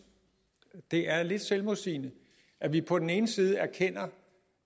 det er lidt selvmodsigende at vi på den ene side erkender